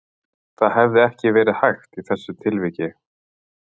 Það hefði ekki verið hægt í þessu tilviki?